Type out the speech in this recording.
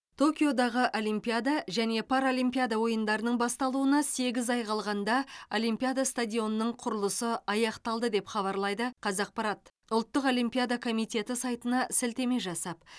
токиодағы олимпиада және паралимпиада ойындарының басталуына сегіз ай қалғанда олимпиада стадионының құрылысы аяқталды деп хабарлайды қазақпарат ұлттық олимпиада комитеті сайтына сілтеме жасап